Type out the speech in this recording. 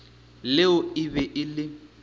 leo e be e le